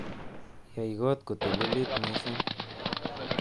Yai kot kotalilit mising'